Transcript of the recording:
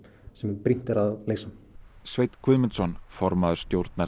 sem brýnt er að leysa Sveinn Guðmundsson formaður stjórnar